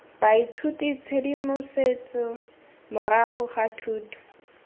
baithuti tshedimosetso morago ga thuto